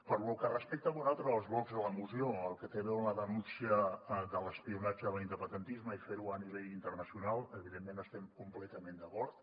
per lo que respecta a un altre dels blocs de la moció el que té a veure amb la denúncia de l’espionatge a l’independentisme i fer ho a nivell internacional evidentment hi estem completament d’acord